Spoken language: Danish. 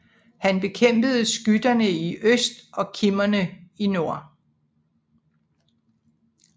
Han bekæmpede skyterne i øst og kimmerne i nord